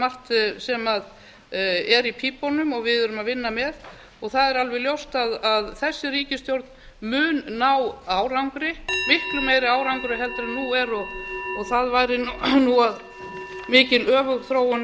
margt sem er í pípunum og við erum að vinna með og það er alveg ljóst að þessi ríkisstjórn mun ná árangri miklu meiri árangri en nú er og það væri mikil öfugþróun